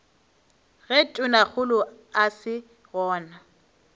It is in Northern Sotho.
ge tonakgolo a se gona